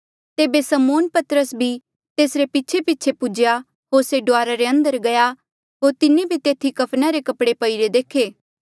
तेबे समौन पतरस भी तेसरे पीछेपीछे पुज्हेया होर से डुआरा रे अंदर गया होर तिन्हें भी तेथी कफना रे कपड़े पईरे देखे